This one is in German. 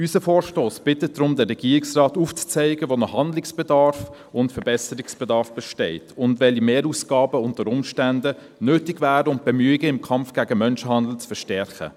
Unser Vorstoss bittet daher den Regierungsrat, aufzuzeigen, wo noch Handlungs- und Verbesserungsbedarf besteht und welche Mehrausgaben unter Umständen nötig wären, um die Bemühungen im Kampf gegen Menschenhandel zu verstärken.